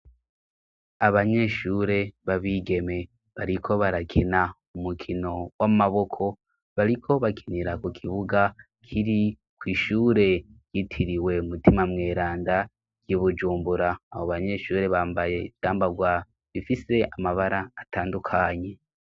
Abanyeshure babigeme bariko barakina umukino w'amaboko bariko bakinira ku kibuga kiri kwishure yitiriwe umutima mweranda i Bujumbura, abo banyeshure bambaye ivyambarwa bifise amabara atandukanye.